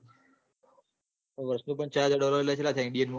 વષ નું ચાર હાજર dollar ચેટલા થયા india મો